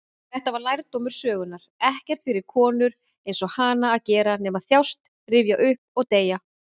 Þetta var lærdómur sögunnar: ekkert fyrir konur-einsog-hana að gera nema þjást, rifja upp, og deyja.